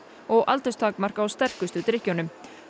og aldurstakmark á sterkustu drykkjunum